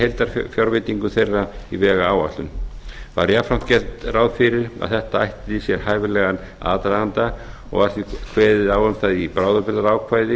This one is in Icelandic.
heildarfjárveitingu þeirra í vegáætlun þar var jafnframt gert ráð fyrir að þetta ætti sér hæfilegan aðdraganda og því kveðið á um það í bráðabirgðaákvæði